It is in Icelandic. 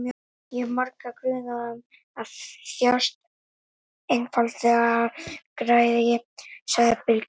Ég hef marga grunaða um að þjást einfaldlega af græðgi, sagði Bylgja.